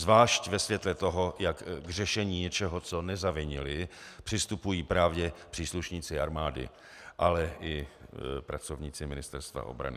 Zvlášť ve světle toho, jak k řešení něčeho, co nezavinili, přistupují právě příslušníci armády, ale i pracovníci Ministerstva obrany.